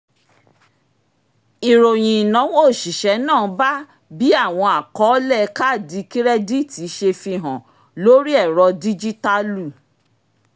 ìròyìn ináwó oṣiṣẹ náà bá bí àwọn àkọọlẹ̀ kaadi kirẹditi ṣe fi hàn lórí ẹrọ díjítàlù